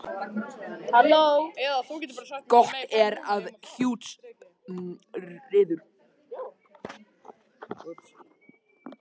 Gott er að þú lesir textann vel yfir eftir að þú hefur skrifað hann.